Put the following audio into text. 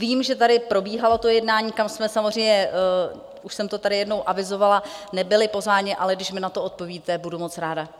Vím, že tady probíhalo to jednání, kam jsme samozřejmě - už jsem to tady jednou avizovala - nebyli pozváni, ale když mi na to odpovíte, budu moc ráda.